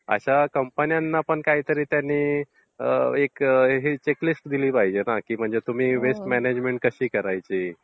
अशा कम्पनींना पण त्यांनी काही एक चेकलिस्ट दिली पाहिजे की म्हणजे तुम्ही वेस्ट म्यानेजमेंट कशी करायची.